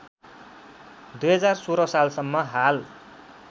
२०१६ सालसम्म हाल